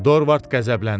Dorvard qəzəbləndi.